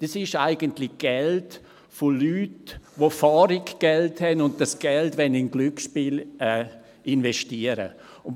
Das ist eigentlich Geld von Leuten, die genügend Geld haben und dieses Geld in Glücksspiele investieren wollen.